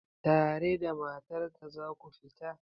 Tare da matar ka za ku fita?